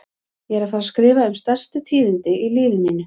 Ég er að fara að skrifa um stærstu tíðindin í lífi mínu.